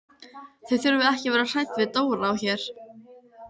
Þið þurfið ekki að vera hrædd við Dóra á Her.